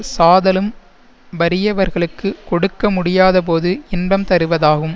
சாதலும் வறியவர்களுக்குக் கொடுக்க முடியாதபோது இன்பம் தருவதாகும்